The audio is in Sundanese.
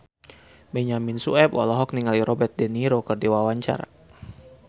Benyamin Sueb olohok ningali Robert de Niro keur diwawancara